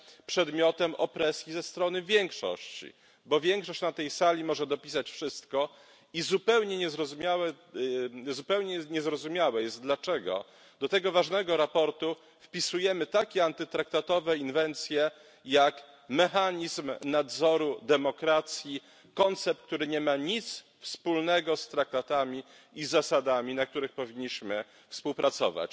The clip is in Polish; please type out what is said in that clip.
przedmiotem opresji ze strony większości, bo większość na tej sali może dopisać wszystko i zupełnie niezrozumiałe jest, dlaczego do tego ważnego sprawozdania wpisujemy takie antytraktatowe inwencje jak mechanizm nadzoru demokracji koncept, który nie ma nic wspólnego z Traktatami i zasadami, na których powinniśmy współpracować.